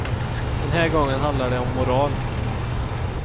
Den här gången handlar det om moral.